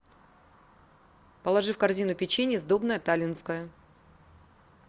положи в корзину печенье сдобное таллинское